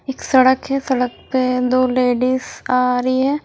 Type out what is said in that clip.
एक सड़क है सड़क पे दो लेडिज आ रही है।